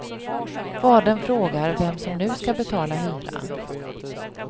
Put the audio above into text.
Fadern frågar vem som nu ska betala hyran.